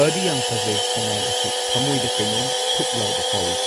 ꯐꯗꯤ ꯌꯥꯝ ꯐꯖꯩ ꯁꯉꯥꯏ ꯑꯁꯤ ꯊꯃꯣꯏꯗ ꯀꯩꯅꯣꯝ ꯊꯨꯛ ꯂꯥꯎꯕ ꯐꯥꯎꯋꯤ꯫